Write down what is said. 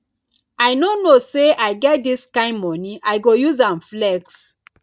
i no know say i get dis kin money i go use am flex